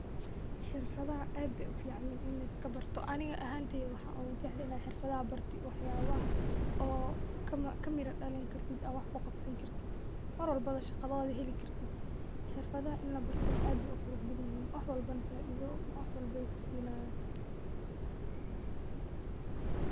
Xirfadaha aad beey ufican yihiin in liska barto aniga ahanteyda waxaan ugu jeclahay inaan xirfadaha barto wax yaabaha oo kamira dalin kartid aad wax kuqabsan kartid, marwalbo shaqadooda heli kartid, xirfadaha aad beey uqurux badan yihiin wax walbo faaido wax walbo waay kusinaayan.